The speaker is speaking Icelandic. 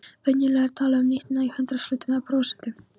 Venjulega er talað um nýtnina í hundraðshlutum eða prósentum.